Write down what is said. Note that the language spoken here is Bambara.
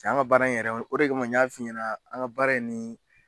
Cɛ an ŋa baara in yɛrɛ o de kama n y'a f'i ɲɛna an ŋa baara in ni